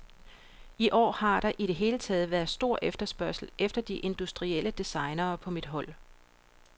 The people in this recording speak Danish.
I år har der i det hele taget været stor efterspørgsel efter de industrielle designere på mit hold.